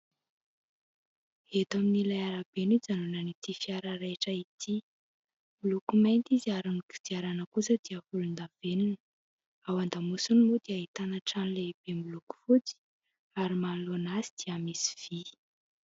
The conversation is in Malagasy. Eto amin'ilay arabe no ijanonan'ity fiara raitra ity, moloko mainty izy ary ny kodiarana kosa dia volondavenona. Ao an-damosiny moa dia ahitana trano lehibe miloko fotsy ary manoloana azy dia misy vy.